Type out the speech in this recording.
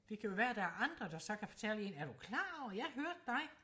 det kan jo være at der er andre der så kan fortælle en er du klar over jeg hørte dig